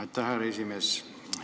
Aitäh, härra esimees!